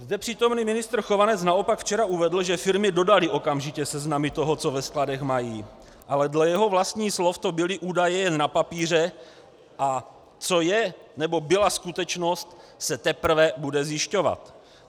Zde přítomný ministr Chovanec naopak včera uvedl, že firmy dodaly okamžitě seznamy toho, co ve skladech mají, ale dle jeho vlastních slov to byly údaje jen na papíře, a co je, nebo byla skutečnost, se teprve bude zjišťovat.